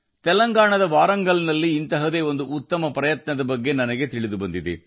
ತೆಲಂಗಾಣದ ವಾರಂಗಲ್ ನಿಂದ ಅದ್ಭುತ ಪ್ರಯತ್ನದ ಬಗ್ಗೆ ನನಗೆ ತಿಳಿದು ಬಂದಿದೆ